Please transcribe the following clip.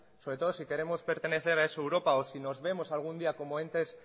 sobre todo si queremos pertenecer a esa europa o si nos vemos algún día como entes